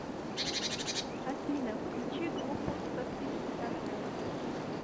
афина включи группу софи таккер